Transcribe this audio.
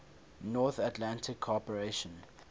north atlantic cooperation